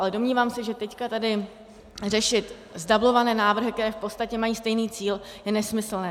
Ale domnívám se, že teď tady řešit zdublované návrhy, které v podstatě mají stejný cíl, je nesmyslné.